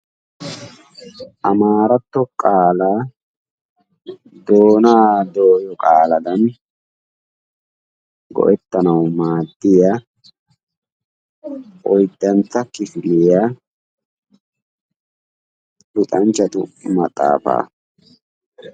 amaaratto qaalaa doonaa dooyo qaaladan maaddiya oydantto kifiliya luxxanchatu maxaafaa. hegaa xalaala giddenan de'ishin bolla bagaara adil'e ciishshay de'ees.